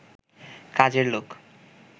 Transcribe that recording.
কাজের লোক